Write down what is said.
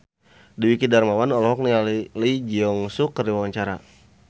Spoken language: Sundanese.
Dwiki Darmawan olohok ningali Lee Jeong Suk keur diwawancara